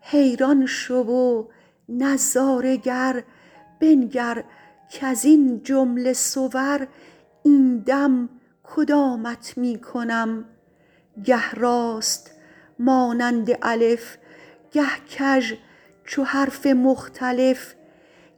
حیران شو و نظاره گر بنگر کز این جمله صور این دم کدامت می کنم گه راست مانند الف گه کژ چو حرف مختلف